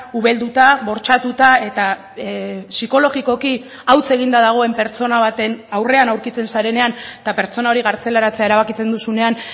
ubelduta bortxatuta eta psikologikoki hauts eginda dagoen pertsona baten aurrean aurkitzen zarenean eta pertsona hori kartzelaratzea erabakitzen duzunean